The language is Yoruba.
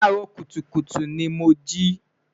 laa ro kutukutu ni mo ji